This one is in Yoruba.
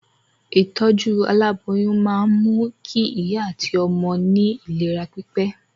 Ìtọ́jú aláboyún máa mú kí ìyá àti ọmọ ní ìlera pípé